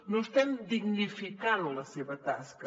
no estem dignificant la seva tasca